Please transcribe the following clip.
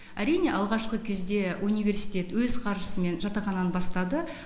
әрине алғашқы кезде университет өз қаржысымен жатақхананы бастады